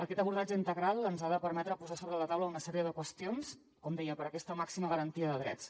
aquest abordatge integral ens ha de permetre posar sobre la taula una sèrie de qüestions com deia per aquesta màxima garantia de drets